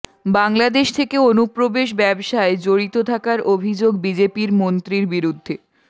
বাংলাদেশ থেকে অনুপ্রবেশ ব্যবসায় জড়িত থাকার অভিযোগ বিজেপির মন্ত্রীর বিরুদ্ধে